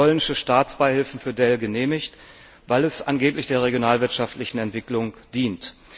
polnische Staatsbeihilfen für Dell genehmigt, weil es angeblich der regionalwirtschaftlichen Entwicklung dient.